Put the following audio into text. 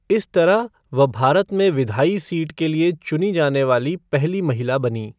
इस तरह वह भारत में विधायी सीट के लिए चुनी जाने वाली पहली महिला बनीं।